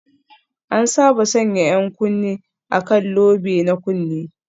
An saba sanya 'yan kunne a kan lobe na kunne